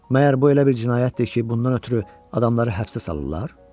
Məgər bu elə bir cinayətdir ki, bundan ötrü adamları həbsə salırlar?